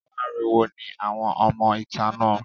Aláriwo ni àwọn ọmọ ìta náà.